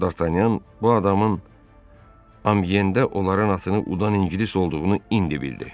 D'Artanyan bu adamın Amyeendə onların atını udan ingilis olduğunu indi bildi.